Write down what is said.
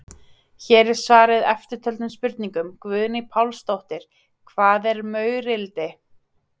Hér er svarað eftirtöldum spurningum: Guðný Pálsdóttir: Hvað er maurildi?